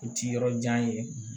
I ti yɔrɔ jan ye